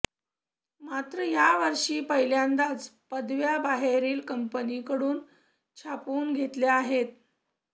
मात्र यावर्षी पहिल्यांदाच पदव्या बाहेरील कंपनीकडून छापून घेतल्या आहेत